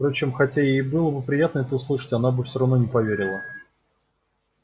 впрочем хотя ей и было бы приятно это услышать она бы всё равно не поверила